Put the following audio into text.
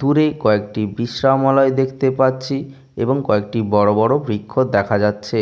দূরে কয়েকটি বিশ্রামালয় দেখতে পাচ্ছি এবং কয়েকটি বড় বড় বৃক্ষ দেখা যাচ্ছে